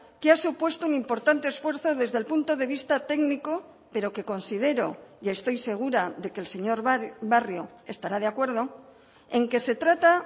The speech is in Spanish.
que ha supuesto un importante esfuerzo desde el punto de vista técnico pero que considero y estoy segura de que el señor barrio estará de acuerdo en que se trata